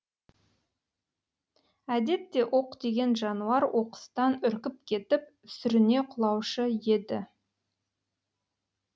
әдетте оқ тиген жануар оқыстан үркіп кетіп сүріне құлаушы еді